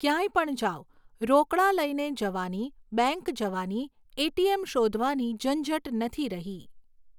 ક્યાંય પણ જાવ, રોકડા લઈને જવાની, બેંક જવાની, ઍટીએમ શોધવાની ઝંઝટ નથી રહી.